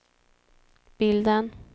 bilden